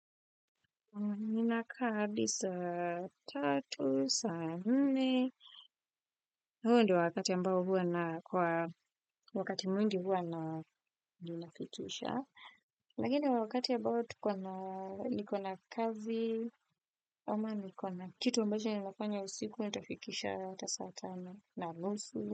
Nina kaa hadi saa tatu, saa nne. Huu ndo wakati ambao huwa na kwa wakati mwingi huwa na ninafikisha. Lakini wakati abao tukona, nikona kazi. Ama nikona kitu ambacho ninafanya usiku, nitafikisha ata saa tano na nusu.